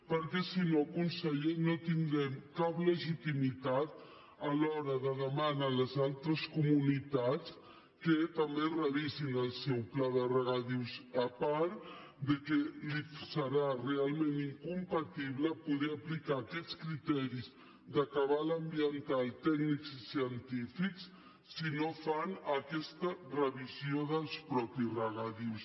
perquè si no conseller no tindrem cap legitimitat a l’hora de demanar a les altres comunitats que també revisin el seu pla de regadius a part que li serà realment incompatible poder aplicar aquests criteris de cabal ambiental tècnics i científics si no fan aquesta revisió dels mateixos regadius